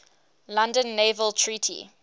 london naval treaty